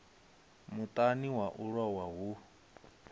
muṱani wa u lowa hu